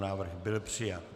Návrh byl přijat.